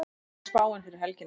hvernig er spáin fyrir helgina